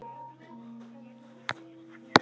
Það samtal fór aldrei fram.